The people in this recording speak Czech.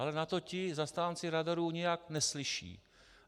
Ale na to ti zastánci radarů nijak neslyší.